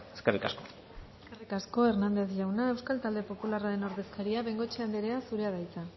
eskerrik asko eskerrik asko hernandez jauna euskal talde popularraren ordezkaria bengoechea anderea zurea da hitza